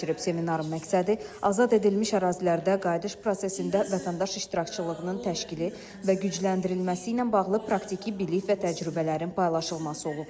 Seminarın məqsədi azad edilmiş ərazilərdə qayıdış prosesində vətəndaş iştirakçılığının təşkili və gücləndirilməsi ilə bağlı praktiki bilik və təcrübələrin paylaşılması olub.